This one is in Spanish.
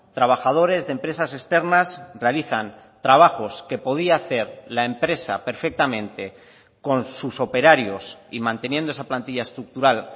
trabajadores de empresas externas realizan trabajos que podía hacer la empresa perfectamente con sus operarios y manteniendo esa plantilla estructural